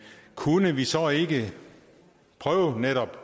kunne vi så ikke prøve netop